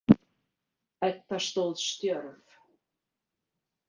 Edda stóð stjörf.